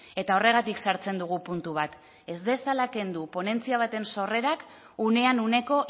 eta horregatik sartzen dugu puntu bat ez dezala kendu ponentzia baten sorrerak unean uneko